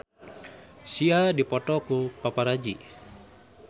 Sia dipoto ku paparazi